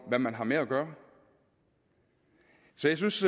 hvad man har med at gøre så jeg synes